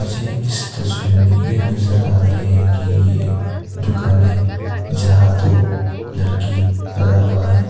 मुझे इस तस्वीर में ये नजर आ रहे हैं कि ये दुकान है जहां दो लड़की परा हुआ है।